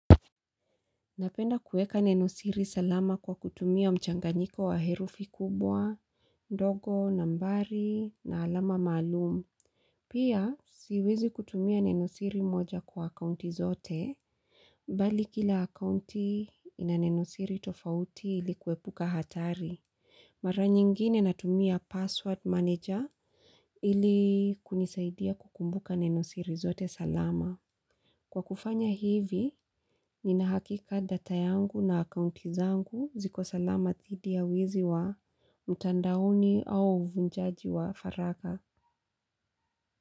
Napenda kueka nenosiri salama kwa kutumia mchanganyiko wa herufi kubwa, ndogo, nambari, na alama maalumu. Pia, siwezi kutumia nenosiri moja kwa akaunti zote, bali kila akaunti ina nenosiri tofauti ilikuepuka hatari. Mara nyingine natumia password manager ili kunisaidia kukumbuka nenosiri zote salama. Kwa kufanya hivi, ninahakika data yangu na akaunti zangu ziko salama thidi ya wizi wa mtandaoni au uvunjaji wa faragha.